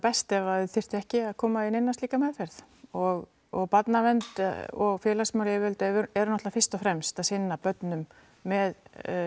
best ef þau þyrftu ekki að koma í neina slíka meðferð og og barnavernd og félagsmálayfirvöld eru náttúrulega fyrst og fremst að sinna börnum með